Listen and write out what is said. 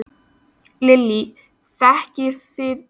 Lillý: Þekkið þið jólasveinana?